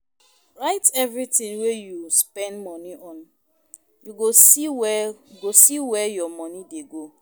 Write everytin wey you spend moni on, you go see where you go see where your moni dey go.